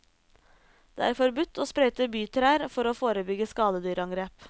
Det er forbudt å sprøyte bytrær for å forebygge skadedyrangrep.